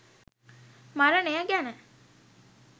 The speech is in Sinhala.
මරණය ගැන.